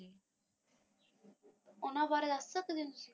ਉਨ੍ਹਾਂ ਬਾਰੇ ਦੱਸ ਸਕਦੇ ਹੋ?